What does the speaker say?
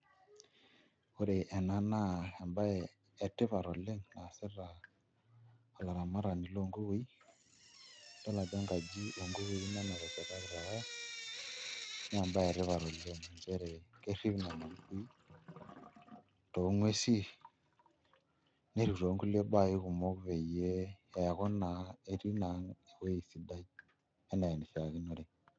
Ore ena naa embaye etipat oleng naasita olaramatani loo nkukui idol ajo enkajo oonkukui ina nateshetaka naa embaye etipat oleng' ina nchere kerrip nena kukui too nguesin nerrip toonkulie baa kumok peyie eeku naa etii naa ewuei sidai enaa enishiakinore.